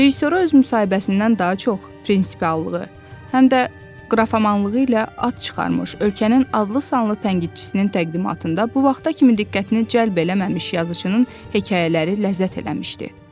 Rejissora öz müsahibəsindən daha çox prinsiallığı, həm də qrafomanlığı ilə ad çıxarmış ölkənin adlı sanlı tənqidçisinin təqdimatında bu vaxta kimi diqqətini cəlb eləməmiş yazıçının hekayələri ləzzət eləmişdi.